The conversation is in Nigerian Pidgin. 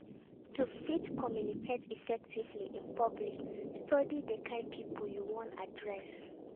To fit communicate effectively in public study di kind pipo you won address